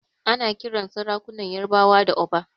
Ana kiran sarakunan ƴarbawa da Oba.